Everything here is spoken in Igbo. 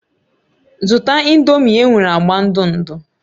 Zụta Ị̀ndómị́ e nwere agba ndụ ndụ